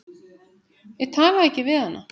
Ég talaði ekki við hana.